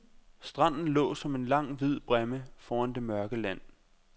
Stranden lå som en lang hvid bræmme foran det mørke land.